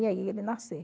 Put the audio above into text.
E aí ele nasceu.